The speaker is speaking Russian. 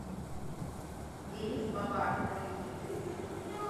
денис бабарыкин